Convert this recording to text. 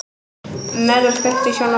Melrós, kveiktu á sjónvarpinu.